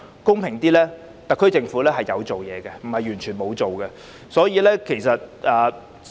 公道點說，特區政府其實有做事，並非完全沒有做實事。